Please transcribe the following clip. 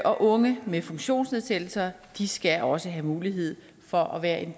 og unge med funktionsnedsættelser skal også have mulighed for at være en